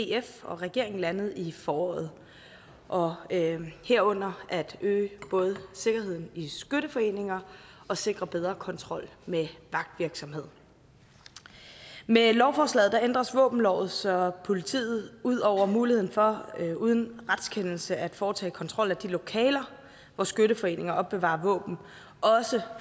df og regeringen landede i foråret og herunder at øge både sikkerheden i skytteforeninger og sikre bedre kontrol med vagtvirksomhed med lovforslaget ændres våbenloven så politiet ud over muligheden for uden retskendelse at kunne foretage kontrol af de lokaler hvor skytteforeninger opbevarer våben